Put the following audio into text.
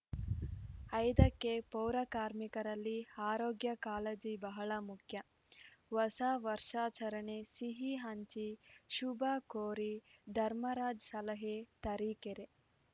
ಐದಕ್ಕೆ ಪೌರಕಾರ್ಮಿಕರಲ್ಲಿ ಆರೋಗ್ಯ ಕಾಳಜಿ ಬಹಳ ಮುಖ್ಯ ಹೊಸ ವರ್ಷಾಚರಣೆ ಸಿಹಿ ಹಂಚಿ ಶುಭ ಕೋರಿ ಧರ್ಮರಾಜ್‌ ಸಲಹೆ ತರೀಕೆರೆ